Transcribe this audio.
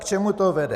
K čemu to vede?